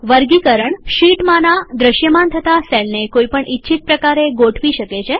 વર્ગીકરણ શીટમાંના દ્રશ્યમાન થતા સેલને કોઈ પણ ઇચ્છિત પ્રકારે ગોઠવી શકે છે